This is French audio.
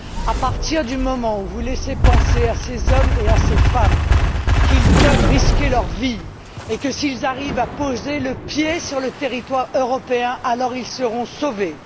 À partir du moment où vous laissez penser à ces hommes et à ces femmes qu'ils peuvent risquer leurs vies et que, s'ils arrivent à poser le pied sur le territoire européen, alors ils seront sauvés